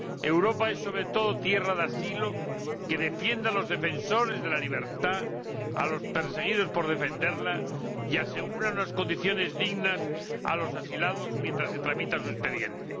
Europa es, sobre todo, tierra de asilo que defiende a los defensores de la libertad, a los perseguidos por defenderla, y asegura unas condiciones dignas a los asilados mientras se tramita su expediente.